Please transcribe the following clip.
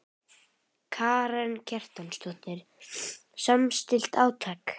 Karen Kjartansdóttir: Samstillt átak?